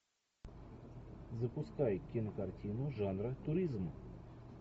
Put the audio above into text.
запускай кинокартину жанра туризм